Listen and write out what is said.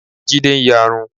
Jídé ń yarun.